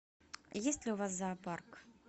есть ли у вас зоопарк